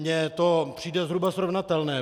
Mně to přijde zhruba srovnatelné.